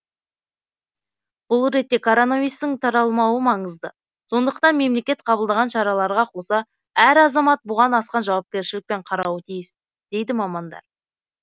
бұл ретте коронавирустың таралмауы маңызды сондықтан мемлекет қабылдаған шараларға қоса әр азамат бұған асқан жауапкершілікпен қарауы тиіс дейді мамандар